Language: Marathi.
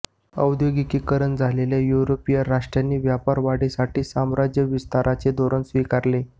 औद्योगिकीकरण झालेल्या युरोपीय राष्ट्रांनी व्यापार वाढीसाठी साम्राज्य विस्ताराचे धोरण स्वीकारले